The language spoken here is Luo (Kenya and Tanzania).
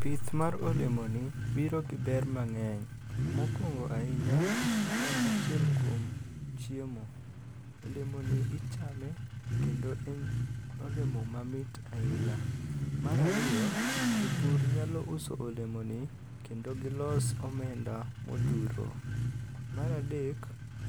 Pith mar olemoni biro gi ber mang'eny. Mokwongo ahinya, en achiel kuom chiemo. Olemoni ichame kendo en olemo mamit ahinya. Mar ariyo, jopur nyalo uso olemoni kendo gilos omenda ma odhuro. Mar adek,